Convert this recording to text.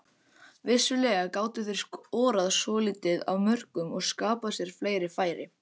Vissulega gátu þeir skorað svolítið af mörkum og skapað sér fleiri færi.